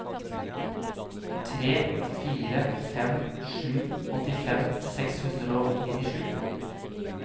tre fire fem sju åttifem seks hundre og nittisju